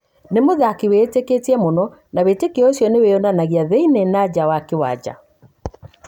Ni mũthaki wĩĩteketie mũno na wĩtekio ucio nĩ wĩyonanagia thĩinie na nja wa kĩwanja.